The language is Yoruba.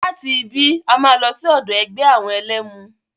Láti ibí, a máa lọ sí ọ̀dọ̀ ẹgbẹ́ àwọn ẹlẹ́mu.